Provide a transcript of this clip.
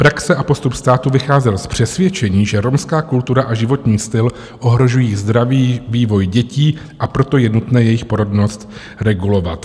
Praxe a postup státu vycházely z přesvědčení, že romská kultura a životní styl ohrožují zdravý vývoj dětí, a proto je nutné jejich porodnost regulovat.